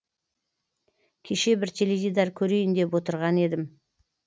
кеше бір теледидар көрейін деп отырған едім